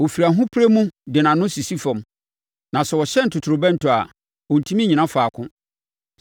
Ɔfiri ahopereɛ mu de nʼano sisi fam; na sɛ wɔhyɛn totorobɛnto a, ɔntumi nnyina faako.